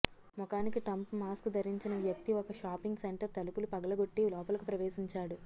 ముఖానికి Trump mask ధరించిన వ్యక్తి ఒక షాపింగ్ సెంటర్ తలుపులు పగలగొట్టి లోపలకు ప్రవేశించాడు